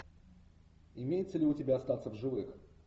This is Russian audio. имеется ли у тебя остаться в живых